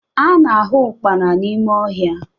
A na-ahụ ụkpana n'ime ọhịa